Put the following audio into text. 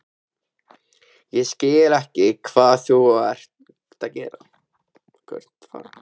Ég skil ekki hvað þú ert að fara.